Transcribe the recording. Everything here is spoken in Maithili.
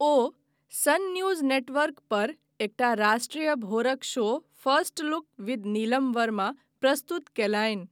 ओ सन न्यूज नेटवर्क प एकटा राष्ट्रीय भोरक show first look with Neelam Verma प्रस्तुत कयलनि।